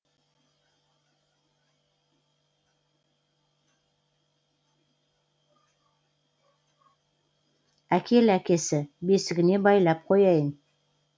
әкел әкесі бесігіне байлап қояйын